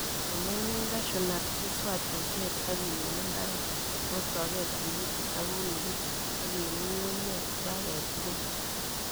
Komemin cahew nut, iswach osnet ak ilul imbar kostogei tigikit ak unugik ak iib ng'ung'unkek iba kechikil